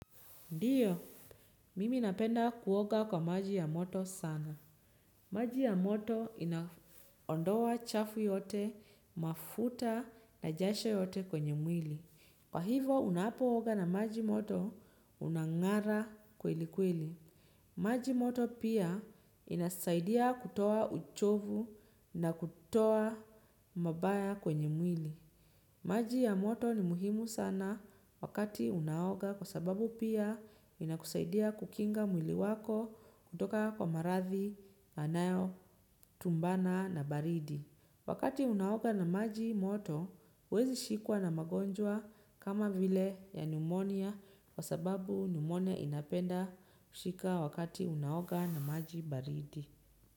Ndio, mimi napenda kuoga kwa maji ya moto sana. Maji ya moto inaondoa chafu yote, mafuta na jasho yote kwenye mwili. Kwa hivo, unapooga na maji moto unangara kweli kweli. Maji moto pia inasaidia kutoa uchovu na kutoa mabaya kwenye mwili. Maji ya moto ni muhimu sana wakati unaoga kwa sababu pia inakusaidia kukinga mwili wako kutoka kwa marathi yanayo tumbana na baridi. Wakati unaoga na maji moto huwezi shikwa na magonjwa kama vile ya pneumonia kwa sababu pneumonia inapenda kushika wakati unaoga na maji baridi.